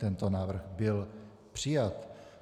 Tento návrh byl přijat.